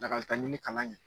Lakalitaɲini kalan kɛ